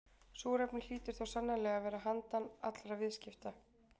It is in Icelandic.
Súrefni hlýtur þó sannarlega að vera handan allra viðskipta.